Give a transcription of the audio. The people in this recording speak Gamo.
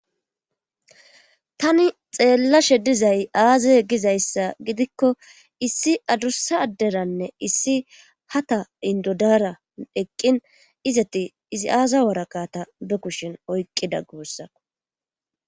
tani xeellashe dizay aazae gizayssa gidikko issi adussa adderanne issi hata indodaara eqqin izati izi aaza woraqa ta be kushen oyqqida guussako